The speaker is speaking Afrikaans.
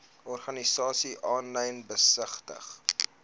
organisasies aanlyn besigtig